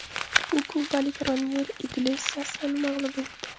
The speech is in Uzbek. U kubalik Roniel Iglesiasni mag‘lub etdi.